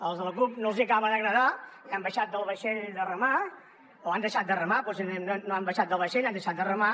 als de la cup no els hi acaba d’agradar i han baixat del vaixell o han deixat de remar potser no han baixat del vaixell han deixat de remar